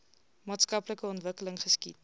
maatskaplike ontwikkeling geskied